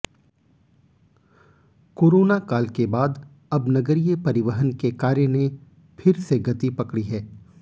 corona काल के बाद अब नगरीय परिवहन के कार्य ने फिर से गति पकड़ी है